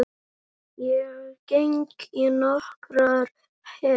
Ég geng í nokkrar hel